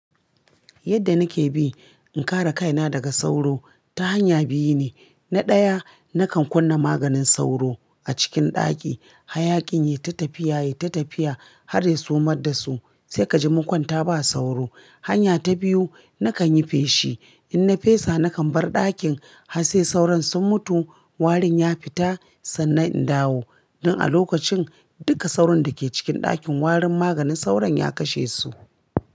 Yadda nake bi in kare kaina daga sauro ta hanya biyu ne. Na ɗaya nakan kunna maganin sauro a cikin ɗaki. Hayakin ya yi ta tafiya, ya yi ta tafiya har ya sumar da su, sai ka ji mun kwanta ba sauro. Hanya ta biyu nakan yi feshi. In na fesa nakan bar ɗakin har sai sauron sun mutu warin ya fita sannan in dawo. Don a lokacin duka sauron dake cikin ɗakin warin maganin sauron ya kashe su.